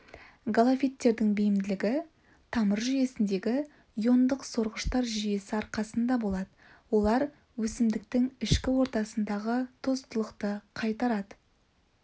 галофиттердің бейімділігі тамыр жүйесіндегі иондық сорғыштар жүйесі арқасында болады олар өсімдіктің ішкі ортасындағы тұздылықты қайтарады